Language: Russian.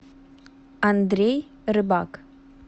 андрей рыбак